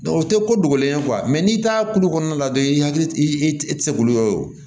o tɛ ko dogolen ye n'i taara kulu kɔnɔna la dɔrɔn i hakili i tɛ i tɛ se k'olu ye o ye o